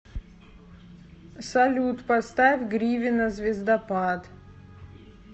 салют поставь гривина звездопад